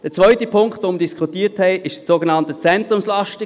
Der zweite Punkt, den wir diskutiert haben, waren die Zentrumslasten.